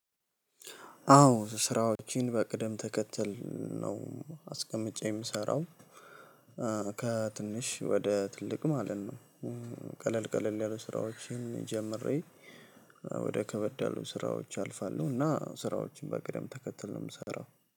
አዎ ስራዎችን በቅደም ተከተል ነው አስቀምጬ የምሰራው። ከትንሽ ወደ ትልቅ ማለት ነው። ቀለል ቀለል ያሉ ስራዎችን ጀምሬ ወደ ከበድ ያሉ ስራዎች አልፋለሁ። እና ስራዎችን በቅደም ተከተል ነው ምሰራው።